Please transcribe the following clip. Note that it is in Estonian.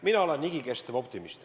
Mina olen igikestev optimist.